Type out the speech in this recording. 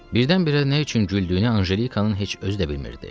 Birdən-birə nə üçün güldüyünü Anjelikanın heç özü də bilmirdi.